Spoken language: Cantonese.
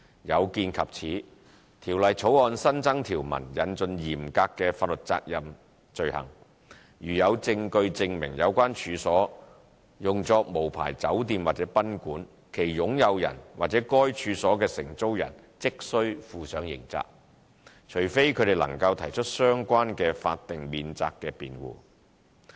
有見及此，《條例草案》新增條文引進嚴格法律責任罪行。如果有證據證明有關處所用作無牌酒店或賓館，其擁有人和該處所的承租人即須負上刑責，除非他們能提出相關的法定免責辯護。